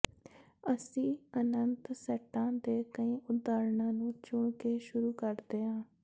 ਅਸੀ ਅਨੰਤ ਸੈੱਟਾਂ ਦੇ ਕਈ ਉਦਾਹਰਣਾਂ ਨੂੰ ਚੁਣ ਕੇ ਸ਼ੁਰੂ ਕਰਦੇ ਹਾਂ